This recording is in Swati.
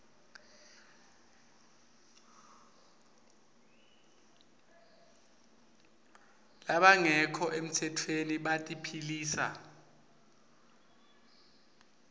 labangekho emtsetfweni batiphilisa